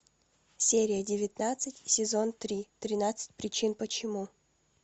серия девятнадцать сезон три тринадцать причин почему